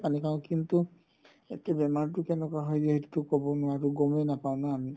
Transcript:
পানি খাও কিন্তু এতিয়া বেমাৰতোতো কেনেকুৱা হয় সেইটোতো ক'ব নোৱাৰো গ'মে নাপাও না আমি